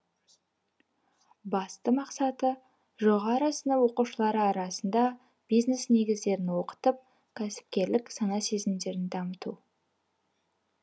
басты мақсаты жоғары сынып оқушылары арасында бизнес негіздерін оқытып кәсіпкерлік сана сезімдерін дамыту